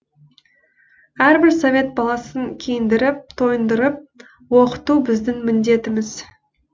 әрбір совет баласын киіндіріп тойындырып оқыту біздің міндетіміз